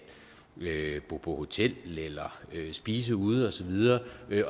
bo på hotel eller spise ude og så videre